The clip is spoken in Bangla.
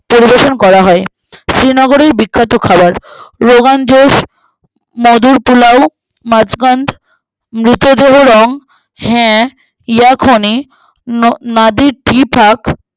পরিবেশন করা হয় শ্রীনগরের বিখ্যাত খাবার রোগান জোস মধুরপোলাও মাছকান্দ মৃতদেহ রং ছ্যাঃ যাকনি ন নাদির জীফনক